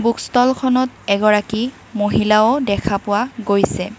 Book ষ্টলখনত এগৰাকী মহিলাও দেখা পোৱা গৈছে।